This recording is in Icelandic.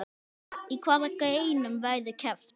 Í hvaða greinum verður keppt?